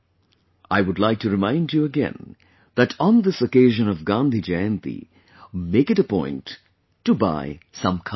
I would like to remind you again that on this occasion of Gandhi Jayanti, make it a point to buy some Khadi product